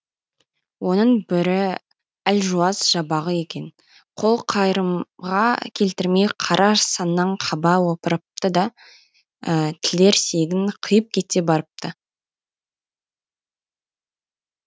оның бірі әлжуаз жабағы екен қол қайырымға келтірмей қара саннан қаба опырыпты да тілерсегін қиып кете барыпты